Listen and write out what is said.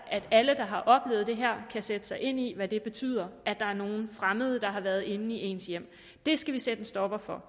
at alle der har oplevet det her kan sætte sig ind i hvad det betyder at der er nogle fremmede der har været inde i ens hjem det skal vi sætte en stopper for